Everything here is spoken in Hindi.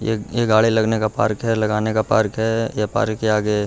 ये ये गाड़ी लगने का पार्क है लगाने का पार्क ये पार्क के आगे --